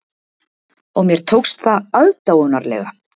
Og mér tókst það aðdáunarlega.